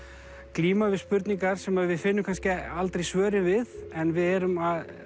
glíma við spurningar sem við finnum kannski aldrei svörin við en við erum